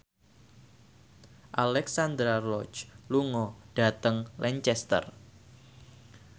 Alexandra Roach lunga dhateng Lancaster